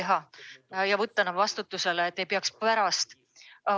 Nad on vaja võtta praegu vastutusele, et neid ei peaks hiljem otsima.